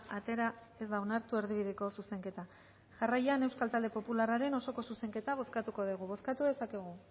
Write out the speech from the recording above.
atera ez da onartu erdibideko zuzenketa jarraian euskal talde popularraren osoko zuzenketa bozkatuko degu bozkatu dezakegu